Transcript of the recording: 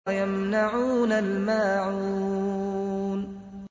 وَيَمْنَعُونَ الْمَاعُونَ